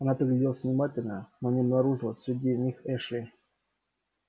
она пригляделась внимательно но не обнаружила среди них эшли